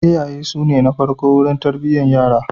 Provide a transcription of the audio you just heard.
Iyaye su ne na farko wurin tarbiyyar yara.